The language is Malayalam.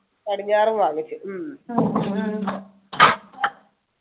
പടിഞ്ഞാറും വാങ്ങിച്ചു ഉം